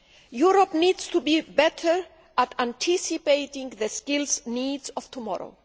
Europe needs to be better at anticipating the skill needs of tomorrow.